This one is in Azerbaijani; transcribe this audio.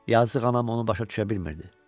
Yazıq anam onu başa düşə bilmirdi.